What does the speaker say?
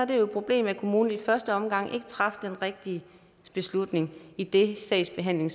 det et problem at kommunen i første omgang ikke traf den rigtige beslutning idet sagsbehandlingen